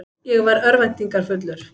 Ég var örvæntingarfullur.